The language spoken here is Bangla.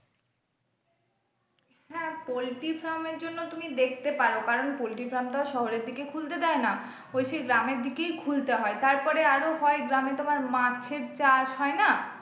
হ্যাঁ poultry farm এর জন্য তুমি দেখতে পারো কারন poultry farm টা শহরের দিকে খুলতে দেয় না ওই সে গ্রামের দিকেই খুলতে হয় তারপরে আরো হয় গ্রামে তোমার মাছের চাষ হয় না?